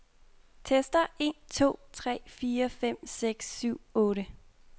Tester en to tre fire fem seks syv otte.